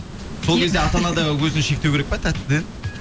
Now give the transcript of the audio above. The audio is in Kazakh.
сол кезде ата ана да өзін шектеу керек па тәттіден